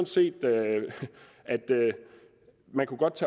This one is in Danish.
set at man godt